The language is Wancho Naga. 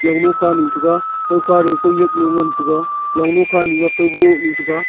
longnu khanu thega kaukha duhye kaunyak galo ngantaga longnu khanu a kaunohnu thega.